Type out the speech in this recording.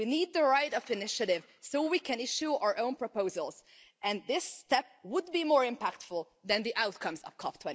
We need the right of initiative so we can issue our own proposals, and this step would be more impactful than the outcomes of COP